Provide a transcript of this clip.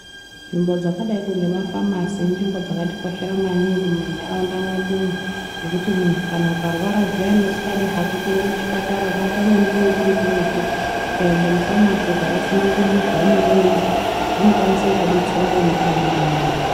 Nzvimbo dzakadai ngema famasi inzvimbo dzakatikoshera maningi muma ntaraunda mwedumwo ngekuti muntu ukarwara zviyani usingadi kuenda kuchipatara pamweni chinenge chiri kuretu, ukaenda mufamasi ukavatsanangurira zvaunenge weizwa vanokwanisa kukudetsera nemushonga mwona umwomwo.